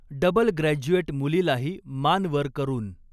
double graduate मुलीलाही मान वर करून